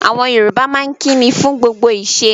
Àwọn Yorùbá maa n kínní fún gbogbo ìṣẹ̀